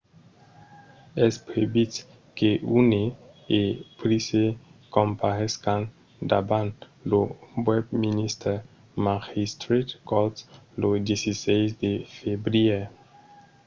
es previst que huhne e pryce comparescan davant lo westminster magistrates court lo 16 de febrièr